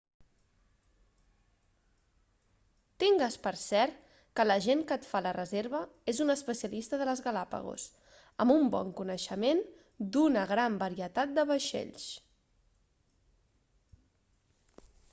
tingues per cert que l'agent que et fa la reserva és un especialista de les galápagos amb un bon coneixement d'una gran varietat de vaixells